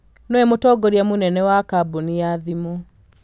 Nĩwe mũtongoria mũnene wa kambuni ya thimũ